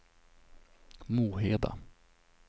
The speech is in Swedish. Moheda